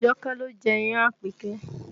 Àjọkẹ́ ló jẹ́ iyán an Àpèkẹ́